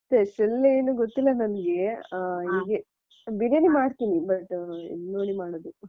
Special ಏನು ಗೊತ್ತಿಲ್ಲ ನನಿಗೆ ಹ ಹೀಗೆ ಬಿರಿಯಾನಿ ಮಾಡ್ತೀನಿ but ಅಹ್ ಇದ್ ನೋಡಿ ಮಾಡೋದು.